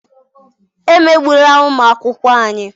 Emegbula ụmụ akwụkwọ anyị!